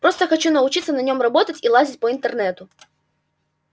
просто хочу научиться на нем работать и лазить по интернету